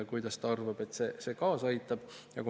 Kuidas tema arvates see kaasa aitab?